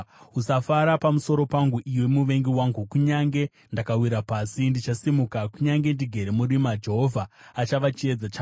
Usafara pamusoro pangu, iwe muvengi wangu! Kunyange ndakawira pasi, ndichasimuka. Kunyange ndigere murima, Jehovha achava chiedza changu.